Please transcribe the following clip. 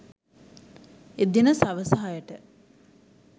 එදින සවස හයට